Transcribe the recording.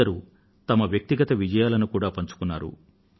కొందరు తమ వ్యక్తిగత విజయాలను కూడా పంచుకున్నారు